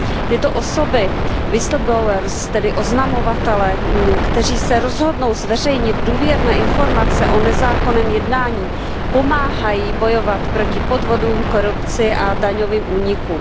Tyto osoby, tedy oznamovatelé, kteří se rozhodnou zveřejnit důvěrné informace o nezákonném jednání, pomáhají bojovat proti podvodům, korupci a daňovým únikům.